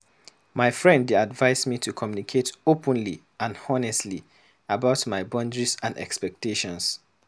My friend dey advise me to communicate openly and honestly about my boundaries and expectations.